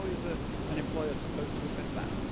How is an employer supposed to assess that?